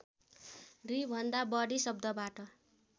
दुईभन्दा बढी शब्दबाट